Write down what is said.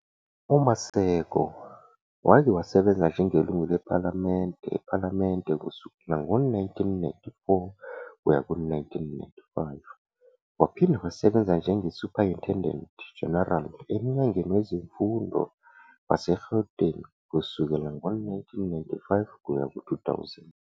UMaseko wake wasebenza njengelungu lePhalamende ePhalamende kusukela ngo-1994 kuya ku-1995, waphinde wasebenza njenge-Superintendent General eMnyangweni Wezemfundo waseGauteng kusukela ngo-1995-2000.